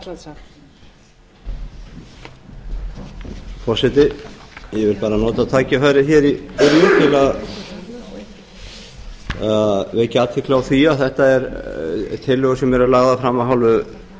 ég vil bara nota tækifærið í byrjun til að vekja athygli á því að þetta eru tillögur sem eru lagðar fram af